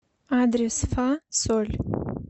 адрес фа соль